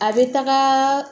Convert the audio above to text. A bɛ taga